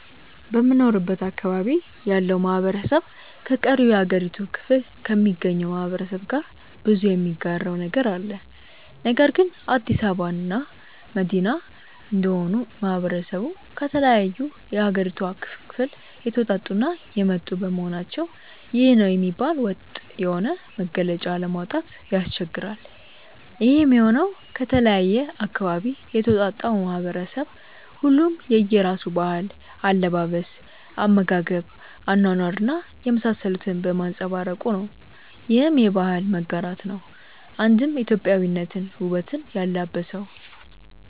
በምኖርበት አካባቢ ያለው ማህበረሰብ ከቀሪው የሀገሪቱ ክፍሎ ከሚገኘው ማህበረሰብ ጋር ብዙ የሚጋራው ነገር አለ። ነገር ግን አዲስ አበባ መዲና እንደመሆኑ ማህበረሰቡ ከተለያዩ የሀገሪቷ ክፍል የተወጣጡ እና የመጡ በመሆናቸው ይህ ነው የሚባል ወጥ የሆነ መገለጫ ለማውጣት ያስቸግራል። ይሄም የሆነው ከተለያየ አካባቢ የተውጣጣው ማህበረሰብ ሁሉም የየራሱን ባህል፣ አለባበስ፣ አመጋገብ፣ አኗኗር እና የመሳሰሉትን በማንፀባረቁ ነው። ይህም የባህል መጋራት ነው አንድም ኢትዮጵያዊነትን ውበት ያላበሰው።